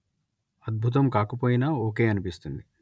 అద్బుతం కాకపోయినా ఓకే అనిపిస్తుంది